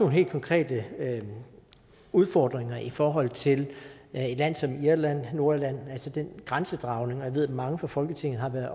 helt konkrete udfordringer i forhold til et land som irland og nordirland altså grænsedragningen jeg ved at mange fra folketinget har været